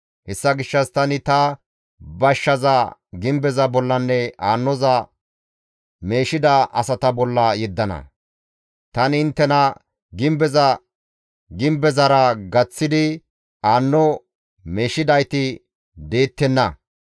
Hessa gishshas tani ta bashshaza gimbeza bollanne aannoza meeshida asata bolla yeddana; tani inttena, ‹Gimbeza gimbezara gaththidi aanno meeshidayti deettenna.